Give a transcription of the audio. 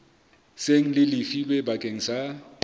seng le lefilwe bakeng sa